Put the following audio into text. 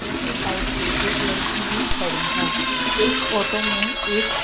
उसकी साइड पे लड़की ही खड़ी है। एक ऑटो में एक--